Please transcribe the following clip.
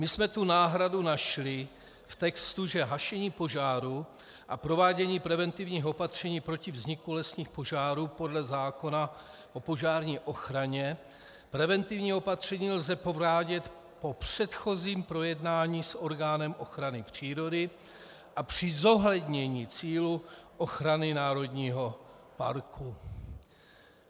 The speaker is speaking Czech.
My jsme tu náhradu našli v textu, že hašení požáru a provádění preventivních opatření proti vzniku lesních požárů podle zákona o požární ochraně, preventivní opatření lze provádět po předchozím projednání s orgánem ochrany přírody a při zohlednění cílů ochrany národního parku.